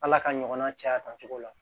Ala ka ɲɔgɔn na caya a kan cogo la